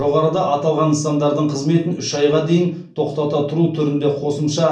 жоғарыда аталған нысандардың қызметін үш айға дейін тоқтата тұру түрінде қосымша